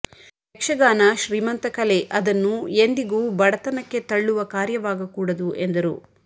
ಯಕ್ಷಗಾನ ಶ್ರೀಮಂತ ಕಲೆ ಅದನ್ನು ಎಂದಿಗೂ ಬಡತನಕ್ಕೆ ತಲ್ಲುವ ಕಾರ್ಯವಾಗ ಕೂಡದು ಎಂದರು